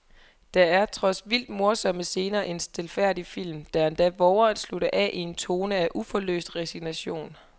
Der er trods vildt morsomme scener en stilfærdig film, der endda vover at slutte af i en tone af uforløst resignation.